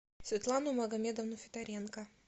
светлану магомедовну федоренко